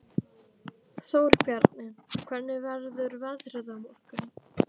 Þórbjarni, hvernig verður veðrið á morgun?